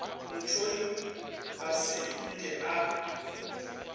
motšhoni ga se nke a